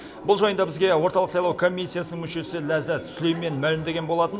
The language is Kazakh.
бұл жайында бізге орталық сайлау комиссиясының мүшесі ләззат сүлеймен мәлімдеген болатын